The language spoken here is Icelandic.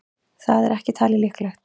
Það er ekki talið líklegt.